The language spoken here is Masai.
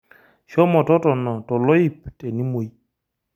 Shomo totona toloip tenimoi.